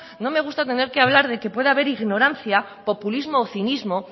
no me gusta tener que hablar de que puede haber ignorancia populismo o cinismo